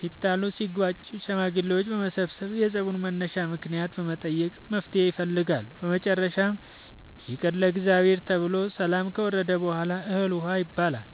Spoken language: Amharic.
ሲጣሉ ሲጋጩ ሽማግሌዎች በመሰብሰብ የፀቡን መነሻ ምክንያት በመጠየቅ መፍትሔ ይፈልጋሉ። በመጨረሻም ይቅር ለእግዚአብሔር ተብሎ ሰላም ከወረደ በሗላ እህል ውሃ ይባላል።